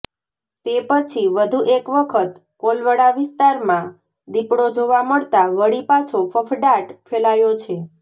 તે પછી વધુ એક વખત કોલવડા વિસ્તારમાં દીપડો જોવા મળતાં વળી પાછો ફફડાટ ફેલાયો છે